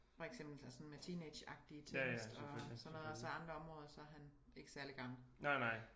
For eksempel sådan med teenageagtige ting og sådan noget og så andre områder er han ikke særligt gammel